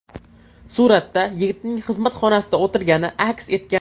Suratda yigitning xizmat xonasida o‘tirgani aks etgan.